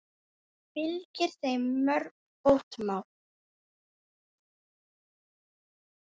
Fylgir þeim mörg fótmál.